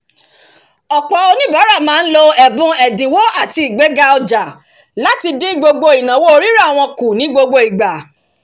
ọ̀pọ̀ onibaara máa ń lo ẹ̀bùn ẹ̀dínwó àti igbega ọjà láti dín gbogbo ìnáwó rírà wọn kù ní gbogbo ìgbà